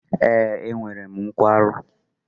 Ee, enwere m nkwarụ